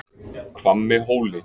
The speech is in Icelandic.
Hvammi Hóli